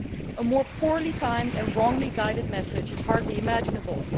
A more poorly timed and wrongly guided message is hardly imaginable.